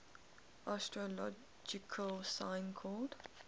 astrological sign called